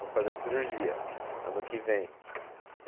Vou fazer a cirurgia ano que vem.